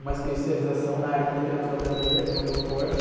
uma especialização na área de literatura brasileira, que é o meu forte.